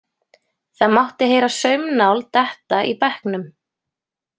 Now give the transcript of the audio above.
Það mátti heyra saumnál detta í bekknum.